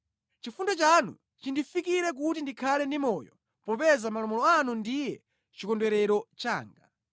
Chifundo chanu chindifikire kuti ndikhale ndi moyo, popeza malamulo anu ndiye chikondwerero changa.